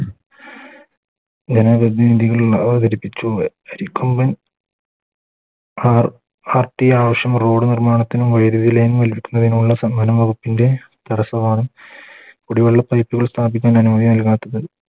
ജന പ്രതിനിധികൾ അവതരിപ്പിച്ചു അരിക്കൊമ്പൻ ഹ ഹർട്ടി ആവശ്യം Road നിർമ്മാണത്തിനും വൈദ്യുതി Line വലിക്കുന്നതിനുള്ള വകുപ്പിൻറെ തടസ്സമാണ് കുടിവെള്ള Pipe കൾ സ്ഥാപിക്കാൻ അനുമതി നൽകാത്തത്